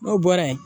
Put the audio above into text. N'o bɔra yen